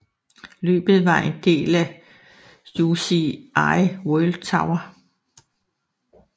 Løbet var en del af UCI World Tour